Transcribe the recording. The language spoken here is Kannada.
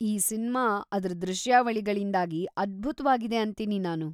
ಈ ಸಿನ್ಮಾ ಅದ್ರ ದೃಶ್ಯಾವಳಿಗಳಿಂದಾಗಿ ಅದ್ಭುತ್ವಾಗಿದೆ ಅಂತೀನಿ ನಾನು.